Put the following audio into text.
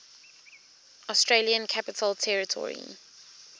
australian capital territory